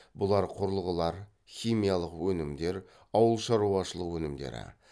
бұлар құрылғылар химиялық өнімдер ауылшаруашылық өнімдері